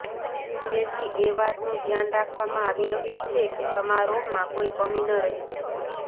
જેથી એ વાતનું ધ્યાન રાખવામાં આવી રહ્યું છે કે સમારોહમાં કોઈ કમી ન રહી જાય